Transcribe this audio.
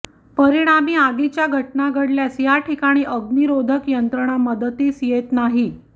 परिणामी आगीच्या घटना घडल्यास या ठिकाणी अग्निरोधक यंत्रणा मदतीस येत नाही